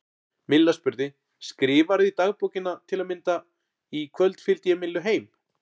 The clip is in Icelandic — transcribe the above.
Milla spurði: Skrifarðu í dagbókina til að mynda: Í kvöld fylgdi ég Millu heim?